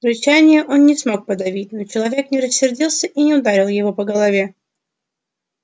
рычания он не смог подавить но человек не рассердился и не ударил его по голове